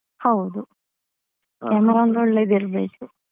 ಹೌದು camera ಒಂದು ಒಳ್ಳೆದ್ ಇರ್ಬೇಕು.